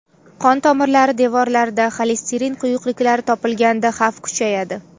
Qon tomirlari devorlarida xolesterin quyuqliklari topilganda xavf kuchayadi.